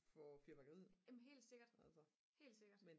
for fyrværkeriet altså